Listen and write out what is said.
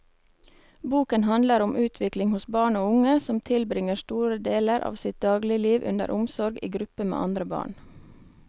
Boken handler om utvikling hos barn og unge som tilbringer store deler av sitt dagligliv under omsorg i gruppe med andre barn.